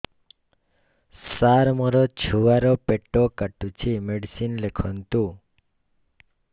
ସାର ମୋର ଛୁଆ ର ପେଟ କାଟୁଚି ମେଡିସିନ ଲେଖନ୍ତୁ